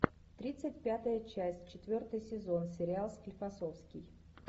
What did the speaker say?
тридцать пятая часть четвертый сезон сериал склифосовский